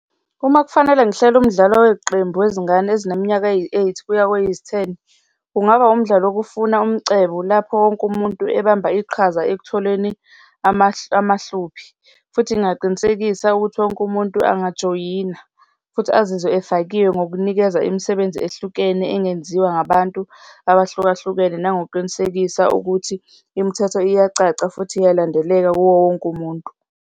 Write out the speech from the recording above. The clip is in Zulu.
Uma kufanele ngihlele umdlalo weqembu wezingane ezineminyaka eyi-eight kuya kweyizi-ten, kungaba umdlalo wokufuna umcebo, lapho wonke umuntu ebamba iqhaza ekutholeni amahluphi futhi ngingaqinisekisa ukuthi wonke umuntu angajoyina futhi azizwe efakiwe ngokunikeza imisebenzi ehlukene engenziwa ngabantu abahlukahlukene, nangokuqinisekisa ukuthi imithetho iyacaca futhi iyalandeleka kuwo wonke umuntu.